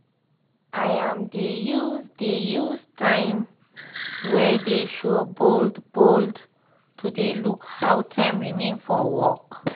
im dey use dey use time wey dey show bold bold to dey look how time remain for work